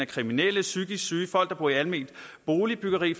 kriminelle psykisk syge beboere i alment boligbyggeri